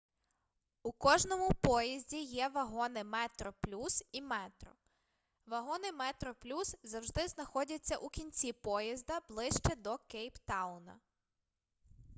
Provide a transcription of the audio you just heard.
у кожному поїзді є вагони метроплюс і метро вагони метроплюс завжди знаходяться у кінці поїзда ближче до кейптауна